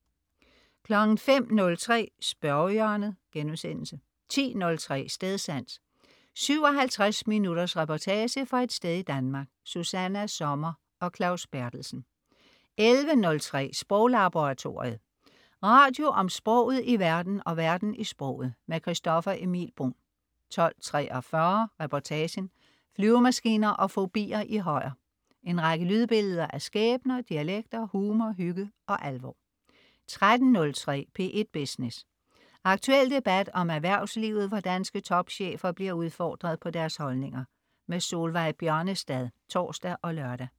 05.03 Spørgehjørnet* 10.03 Stedsans. 57 minutters reportage fra et sted i Danmark. Susanna Sommer og Claus Berthelsen 11.03 Sproglaboratoriet. Radio om sproget i verden og verden i sproget. Christoffer Emil Bruun 12.43 Reportagen: Flyvemaskiner og fobier i Højer. En række lydbilleder af skæbner, dialekter, humor, hygge og alvor 13.03 P1 Business. Aktuel debat om erhvervslivet, hvor danske topchefer bliver udfordret på deres holdninger. Solveig Bjørnestad (tors og lør)